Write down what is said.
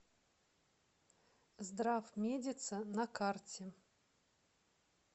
здравмедица на карте